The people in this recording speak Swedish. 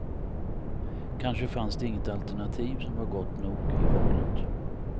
Kanske fanns det inget alternativ som var gott nog i valet.